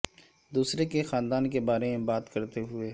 دوسرے کے خاندان کے بارے میں بات کرتے ہوئے